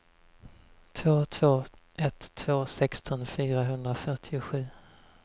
två två ett två sexton fyrahundrafyrtiosju